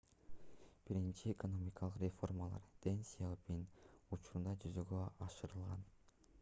биринчи экономикалык реформалар дэн сяопин учурунда жүзөгө ашырылган